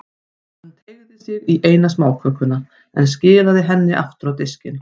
Hann teygði sig í eina smákökuna, en skilaði henni aftur á diskinn.